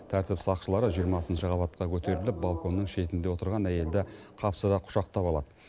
тәртіп сақшылары жиырмасыншы қабатқа көтеріліп балконның шетінде отырған әйелді қапсыра құшақтап алады